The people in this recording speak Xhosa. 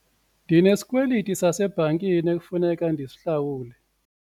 Ndinesikweliti sasebhankini ekufuneka ndisihlawule.